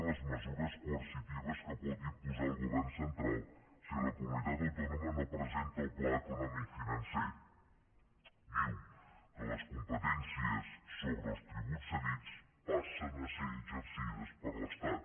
amesures coercitives que pot imposar el govern central si la comunitat autònoma no presenta el pla econòmic financer diu que les competències sobre els tributs cedits passen a ser exercides per l’estat